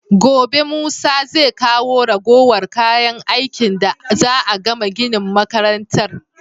Gobe musa zai kawo ragowar kayan aikin da za'a gama ginin makarantar